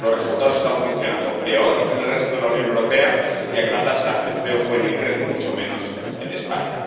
Los resultados están funcionando peor que en el resto de la Unión Europea, ya que la tasa de empleo juvenil crece mucho menos en España.